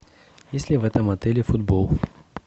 есть ли в этом отеле футбол